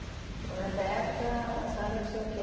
Então, nessa época, a senhora tinha o quê?